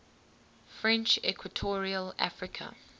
french equatorial africa